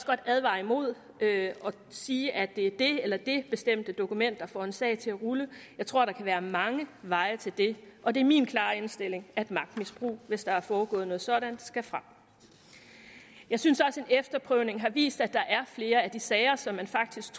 godt advare imod at sige at det er det eller det bestemte dokument der får en sag til at rulle jeg tror der kan være mange veje til det og det er min klare indstilling at magtmisbrug hvis der er foregået noget sådant skal frem jeg synes også at efterprøvning har vist at der er flere af de sager som man faktisk